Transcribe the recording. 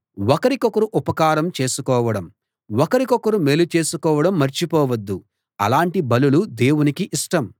ఒకరికొకరు ఉపకారం చేసుకోవడం ఒకరికొకరు మేలు చేసుకోవడం మర్చిపోవద్దు అలాంటి బలులు దేవునికి ఇష్టం